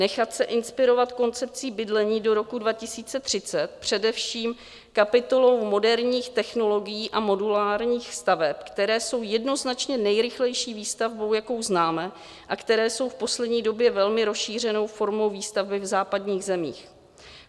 Nechat se inspirovat koncepcí bydlení do roku 2030, především kapitolou moderních technologií a modulárních staveb, které jsou jednoznačně nejrychlejší výstavbou, jakou známe, a které jsou v poslední době velmi rozšířenou formou výstavby v západních zemích.